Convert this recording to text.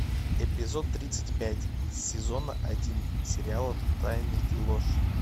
эпизод тридцать пять сезона один сериала тайны и ложь